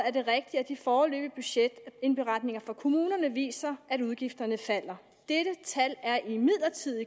er det rigtigt at de foreløbige budgetindberetninger fra kommunerne viser at udgifterne falder dette tal er imidlertid